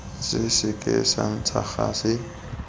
se seke sa ntsha gase